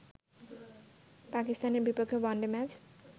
পাকিস্তানের বিপক্ষে one day match